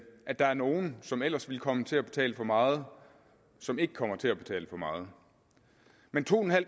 at der er nogle som ellers ville komme til at betale for meget som ikke kommer til at betale for meget men to